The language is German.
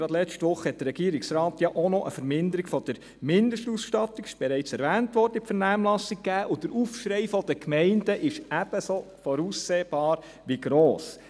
Gerade letzte Woche hat der Regierungsrat auch noch eine Verminderung der Mindestausstattung – es wurde bereits erwähnt – in die Vernehmlassung gegeben, und der Aufschrei der Gemeinden ist ebenso voraussehbar wie gross.